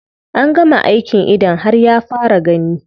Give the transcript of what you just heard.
An gama aikin idon har ya fara gani.